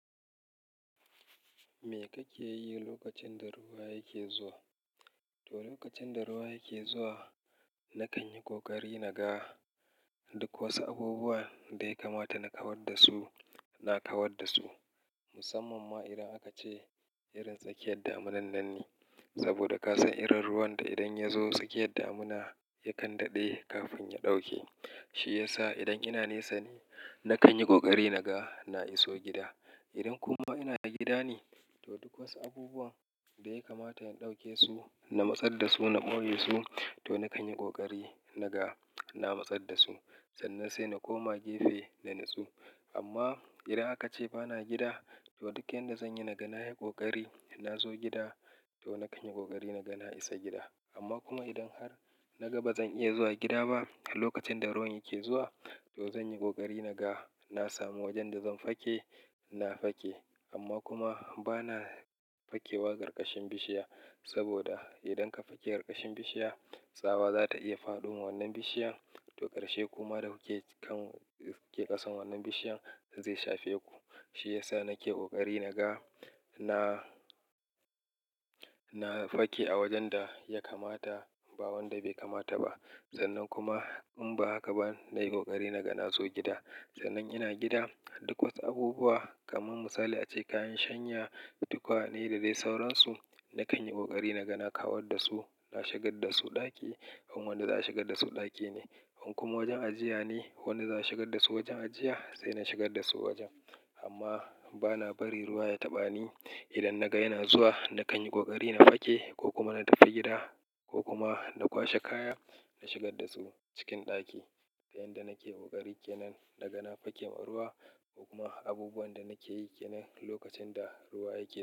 Me kake yi lokacin da ruwa yake zuwa? To, lokacin da ruwa yake zuwa, na kan yi ƙoƙari na ga duk wasu abubuwan da ya kamata na kawar da su, na kawar da su. Musamman ma idan aka ce irin tsakiyar damunan nan ne. Saboda ka san irin ruwan da idan ya zo tsakiyar damuna yakan daɗe kafin ya ɗauke. Shi ya sa idan ina nesa ne, na kan yi ƙoƙari na ga na iso gida. Idan kuma ina gida ne, to duk wasu abubuwan da ya kamata in ɗauke su, na matsar da su, na ɓoye su to na kan yi ƙoƙari na ga na matsar da su. Sannan sai na koma gefe na nutsu. Amma idan aka ce ba na gida, to duk yanda zan yi, na ga na yi ƙoƙari in na zo gida to na kan yi ƙoƙari na ga na isa gida. Amma kuma idan har na ga ba zan iya zuwa gida ba lokacin da ruwan yake zuwa, to zan yi ƙoƙari na ga na samu wajen da zan fake, na fake. Amma kuma ba na fakewa ƙarƙashin bishiya, saboda idan ka fake ƙarƙashin bishiya, tsawa za ta iya faɗoma wannan bishiyan. To, ƙarshe kuma da kuke kan ƙasan wannan bishiyan zai shafe ku. Shi ya sa nake ƙoƙari na ga na, na fake a wajen da ya kamata ba wanda bai kamata ba. Sannan kuma in ba haka ba, na yi ƙoƙari na ga na zo gida. Sannan ina gida, duk wasu abubuwa kamar misali ace kayan shanya, tukwane da dai sauransu. Na kan yi ƙoƙari na ga na kawar da su, na shigar da su ɗaki in wanda za a shigar da su ɗaki ne. In kuma wajen ajiya ne wanda za a shigar da su wajen ajiya, sai na shigar da su wajen. Amma ba na bari ruwa ya taɓa ni. Idan naga yana zuwa na kan yi ƙoƙari na fake ko kuma na tafi gida ko kuma na kwashe kaya, na shigar da su cikin ɗaki. Yanda nake ƙoƙari kenan naga na fakewa ruwa ko kuma abubuwan da nake yi kenan lokacin da ruwa yake zuwa.